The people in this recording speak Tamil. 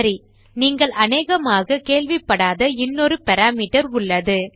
சரி நீங்கள் அனேகமாக கேள்விப்படாத இன்னொரு பாராமீட்டர் உள்ளது